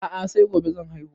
A'a sai gobe zan haihu